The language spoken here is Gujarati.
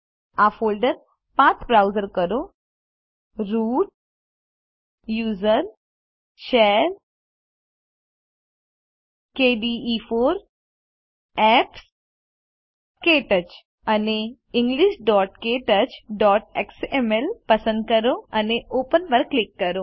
આ ફોલ્ડર પાથ બ્રાઉઝ કરો root usr share kde4 apps ક્ટચ અને englishktouchએક્સએમએલ પસંદ કરો અને ઓપન પર ક્લિક કરો